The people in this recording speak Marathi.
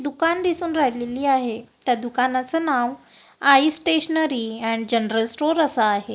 दुकान दिसून राहिलेली आहे त्या दुकानाचं नाव Aai stationery and general store असं आहे.